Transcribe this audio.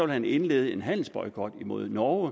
man indlede en handelsboykot imod norge